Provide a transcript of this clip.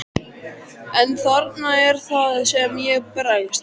En þarna er það sem ég bregst.